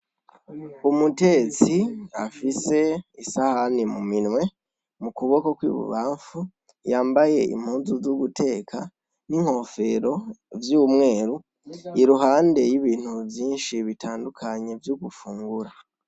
umutetsi afise isahani mu minwe mu kuboko kw'ibubamfu yambaye impunzu zoguteka n'inkofero vy'umweru, iruhande y'ibintu vyinshi bitandukanye vyo gufungura.